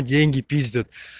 деньги пиздят